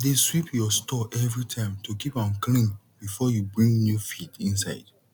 dey sweep your store everytime to keep am clean before you bring new feed inside